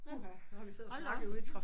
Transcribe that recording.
Puha nu har vi siddet og snakket ude i